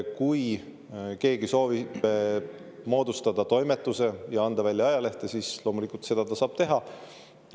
Kui keegi soovib moodustada toimetuse ja anda välja ajalehte, siis loomulikult ta saab seda teha.